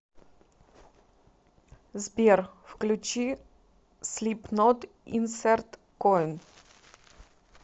сбер включи слипнот инсерт коин